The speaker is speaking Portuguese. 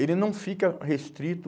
Ele não fica restrito.